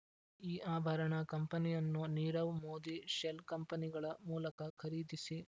ಈ ಆಭರಣ ಕಂಪನಿಯನ್ನು ನೀರವ್ ಮೋದಿ ಶೆಲ್ ಕಂಪನಿಗಳ ಮೂಲಕ ಖರೀದಿಸಿ